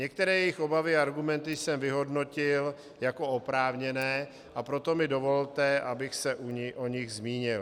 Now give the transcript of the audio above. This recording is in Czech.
Některé jejich obavy a argumenty jsem vyhodnotil jako oprávněné, a proto mi dovolte, abych se o nich zmínil.